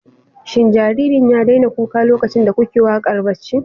Shin jaririn ya daina kuka lokacin da kuke waƙar barci?